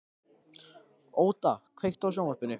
Óda, kveiktu á sjónvarpinu.